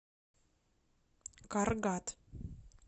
каргат